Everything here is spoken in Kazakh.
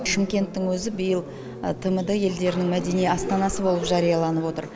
шымкенттің өзі биыл тмд елдерінің мәдени астанасы болып жарияланып отыр